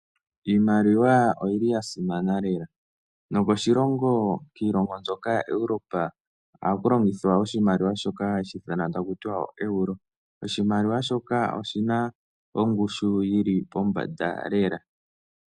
Iimaliwa oyi li ya simana lela. Nokoshilongo kiilongo mbyoka yaEuropa ohaku longithwa oshimaliwa shoka hashi ithanwa taku ti ooeuro. Oshimaliwa shoka oshi na ongushu yi li pombanda lela.